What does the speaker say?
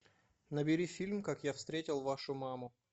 набери фильм как я встретил вашу маму